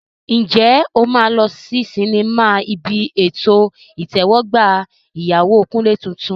Ǹjẹ́ o máa lọ sí sinimá ibi ètò ìtẹ́wọ́gbà ìyàwó Kunle tuntun?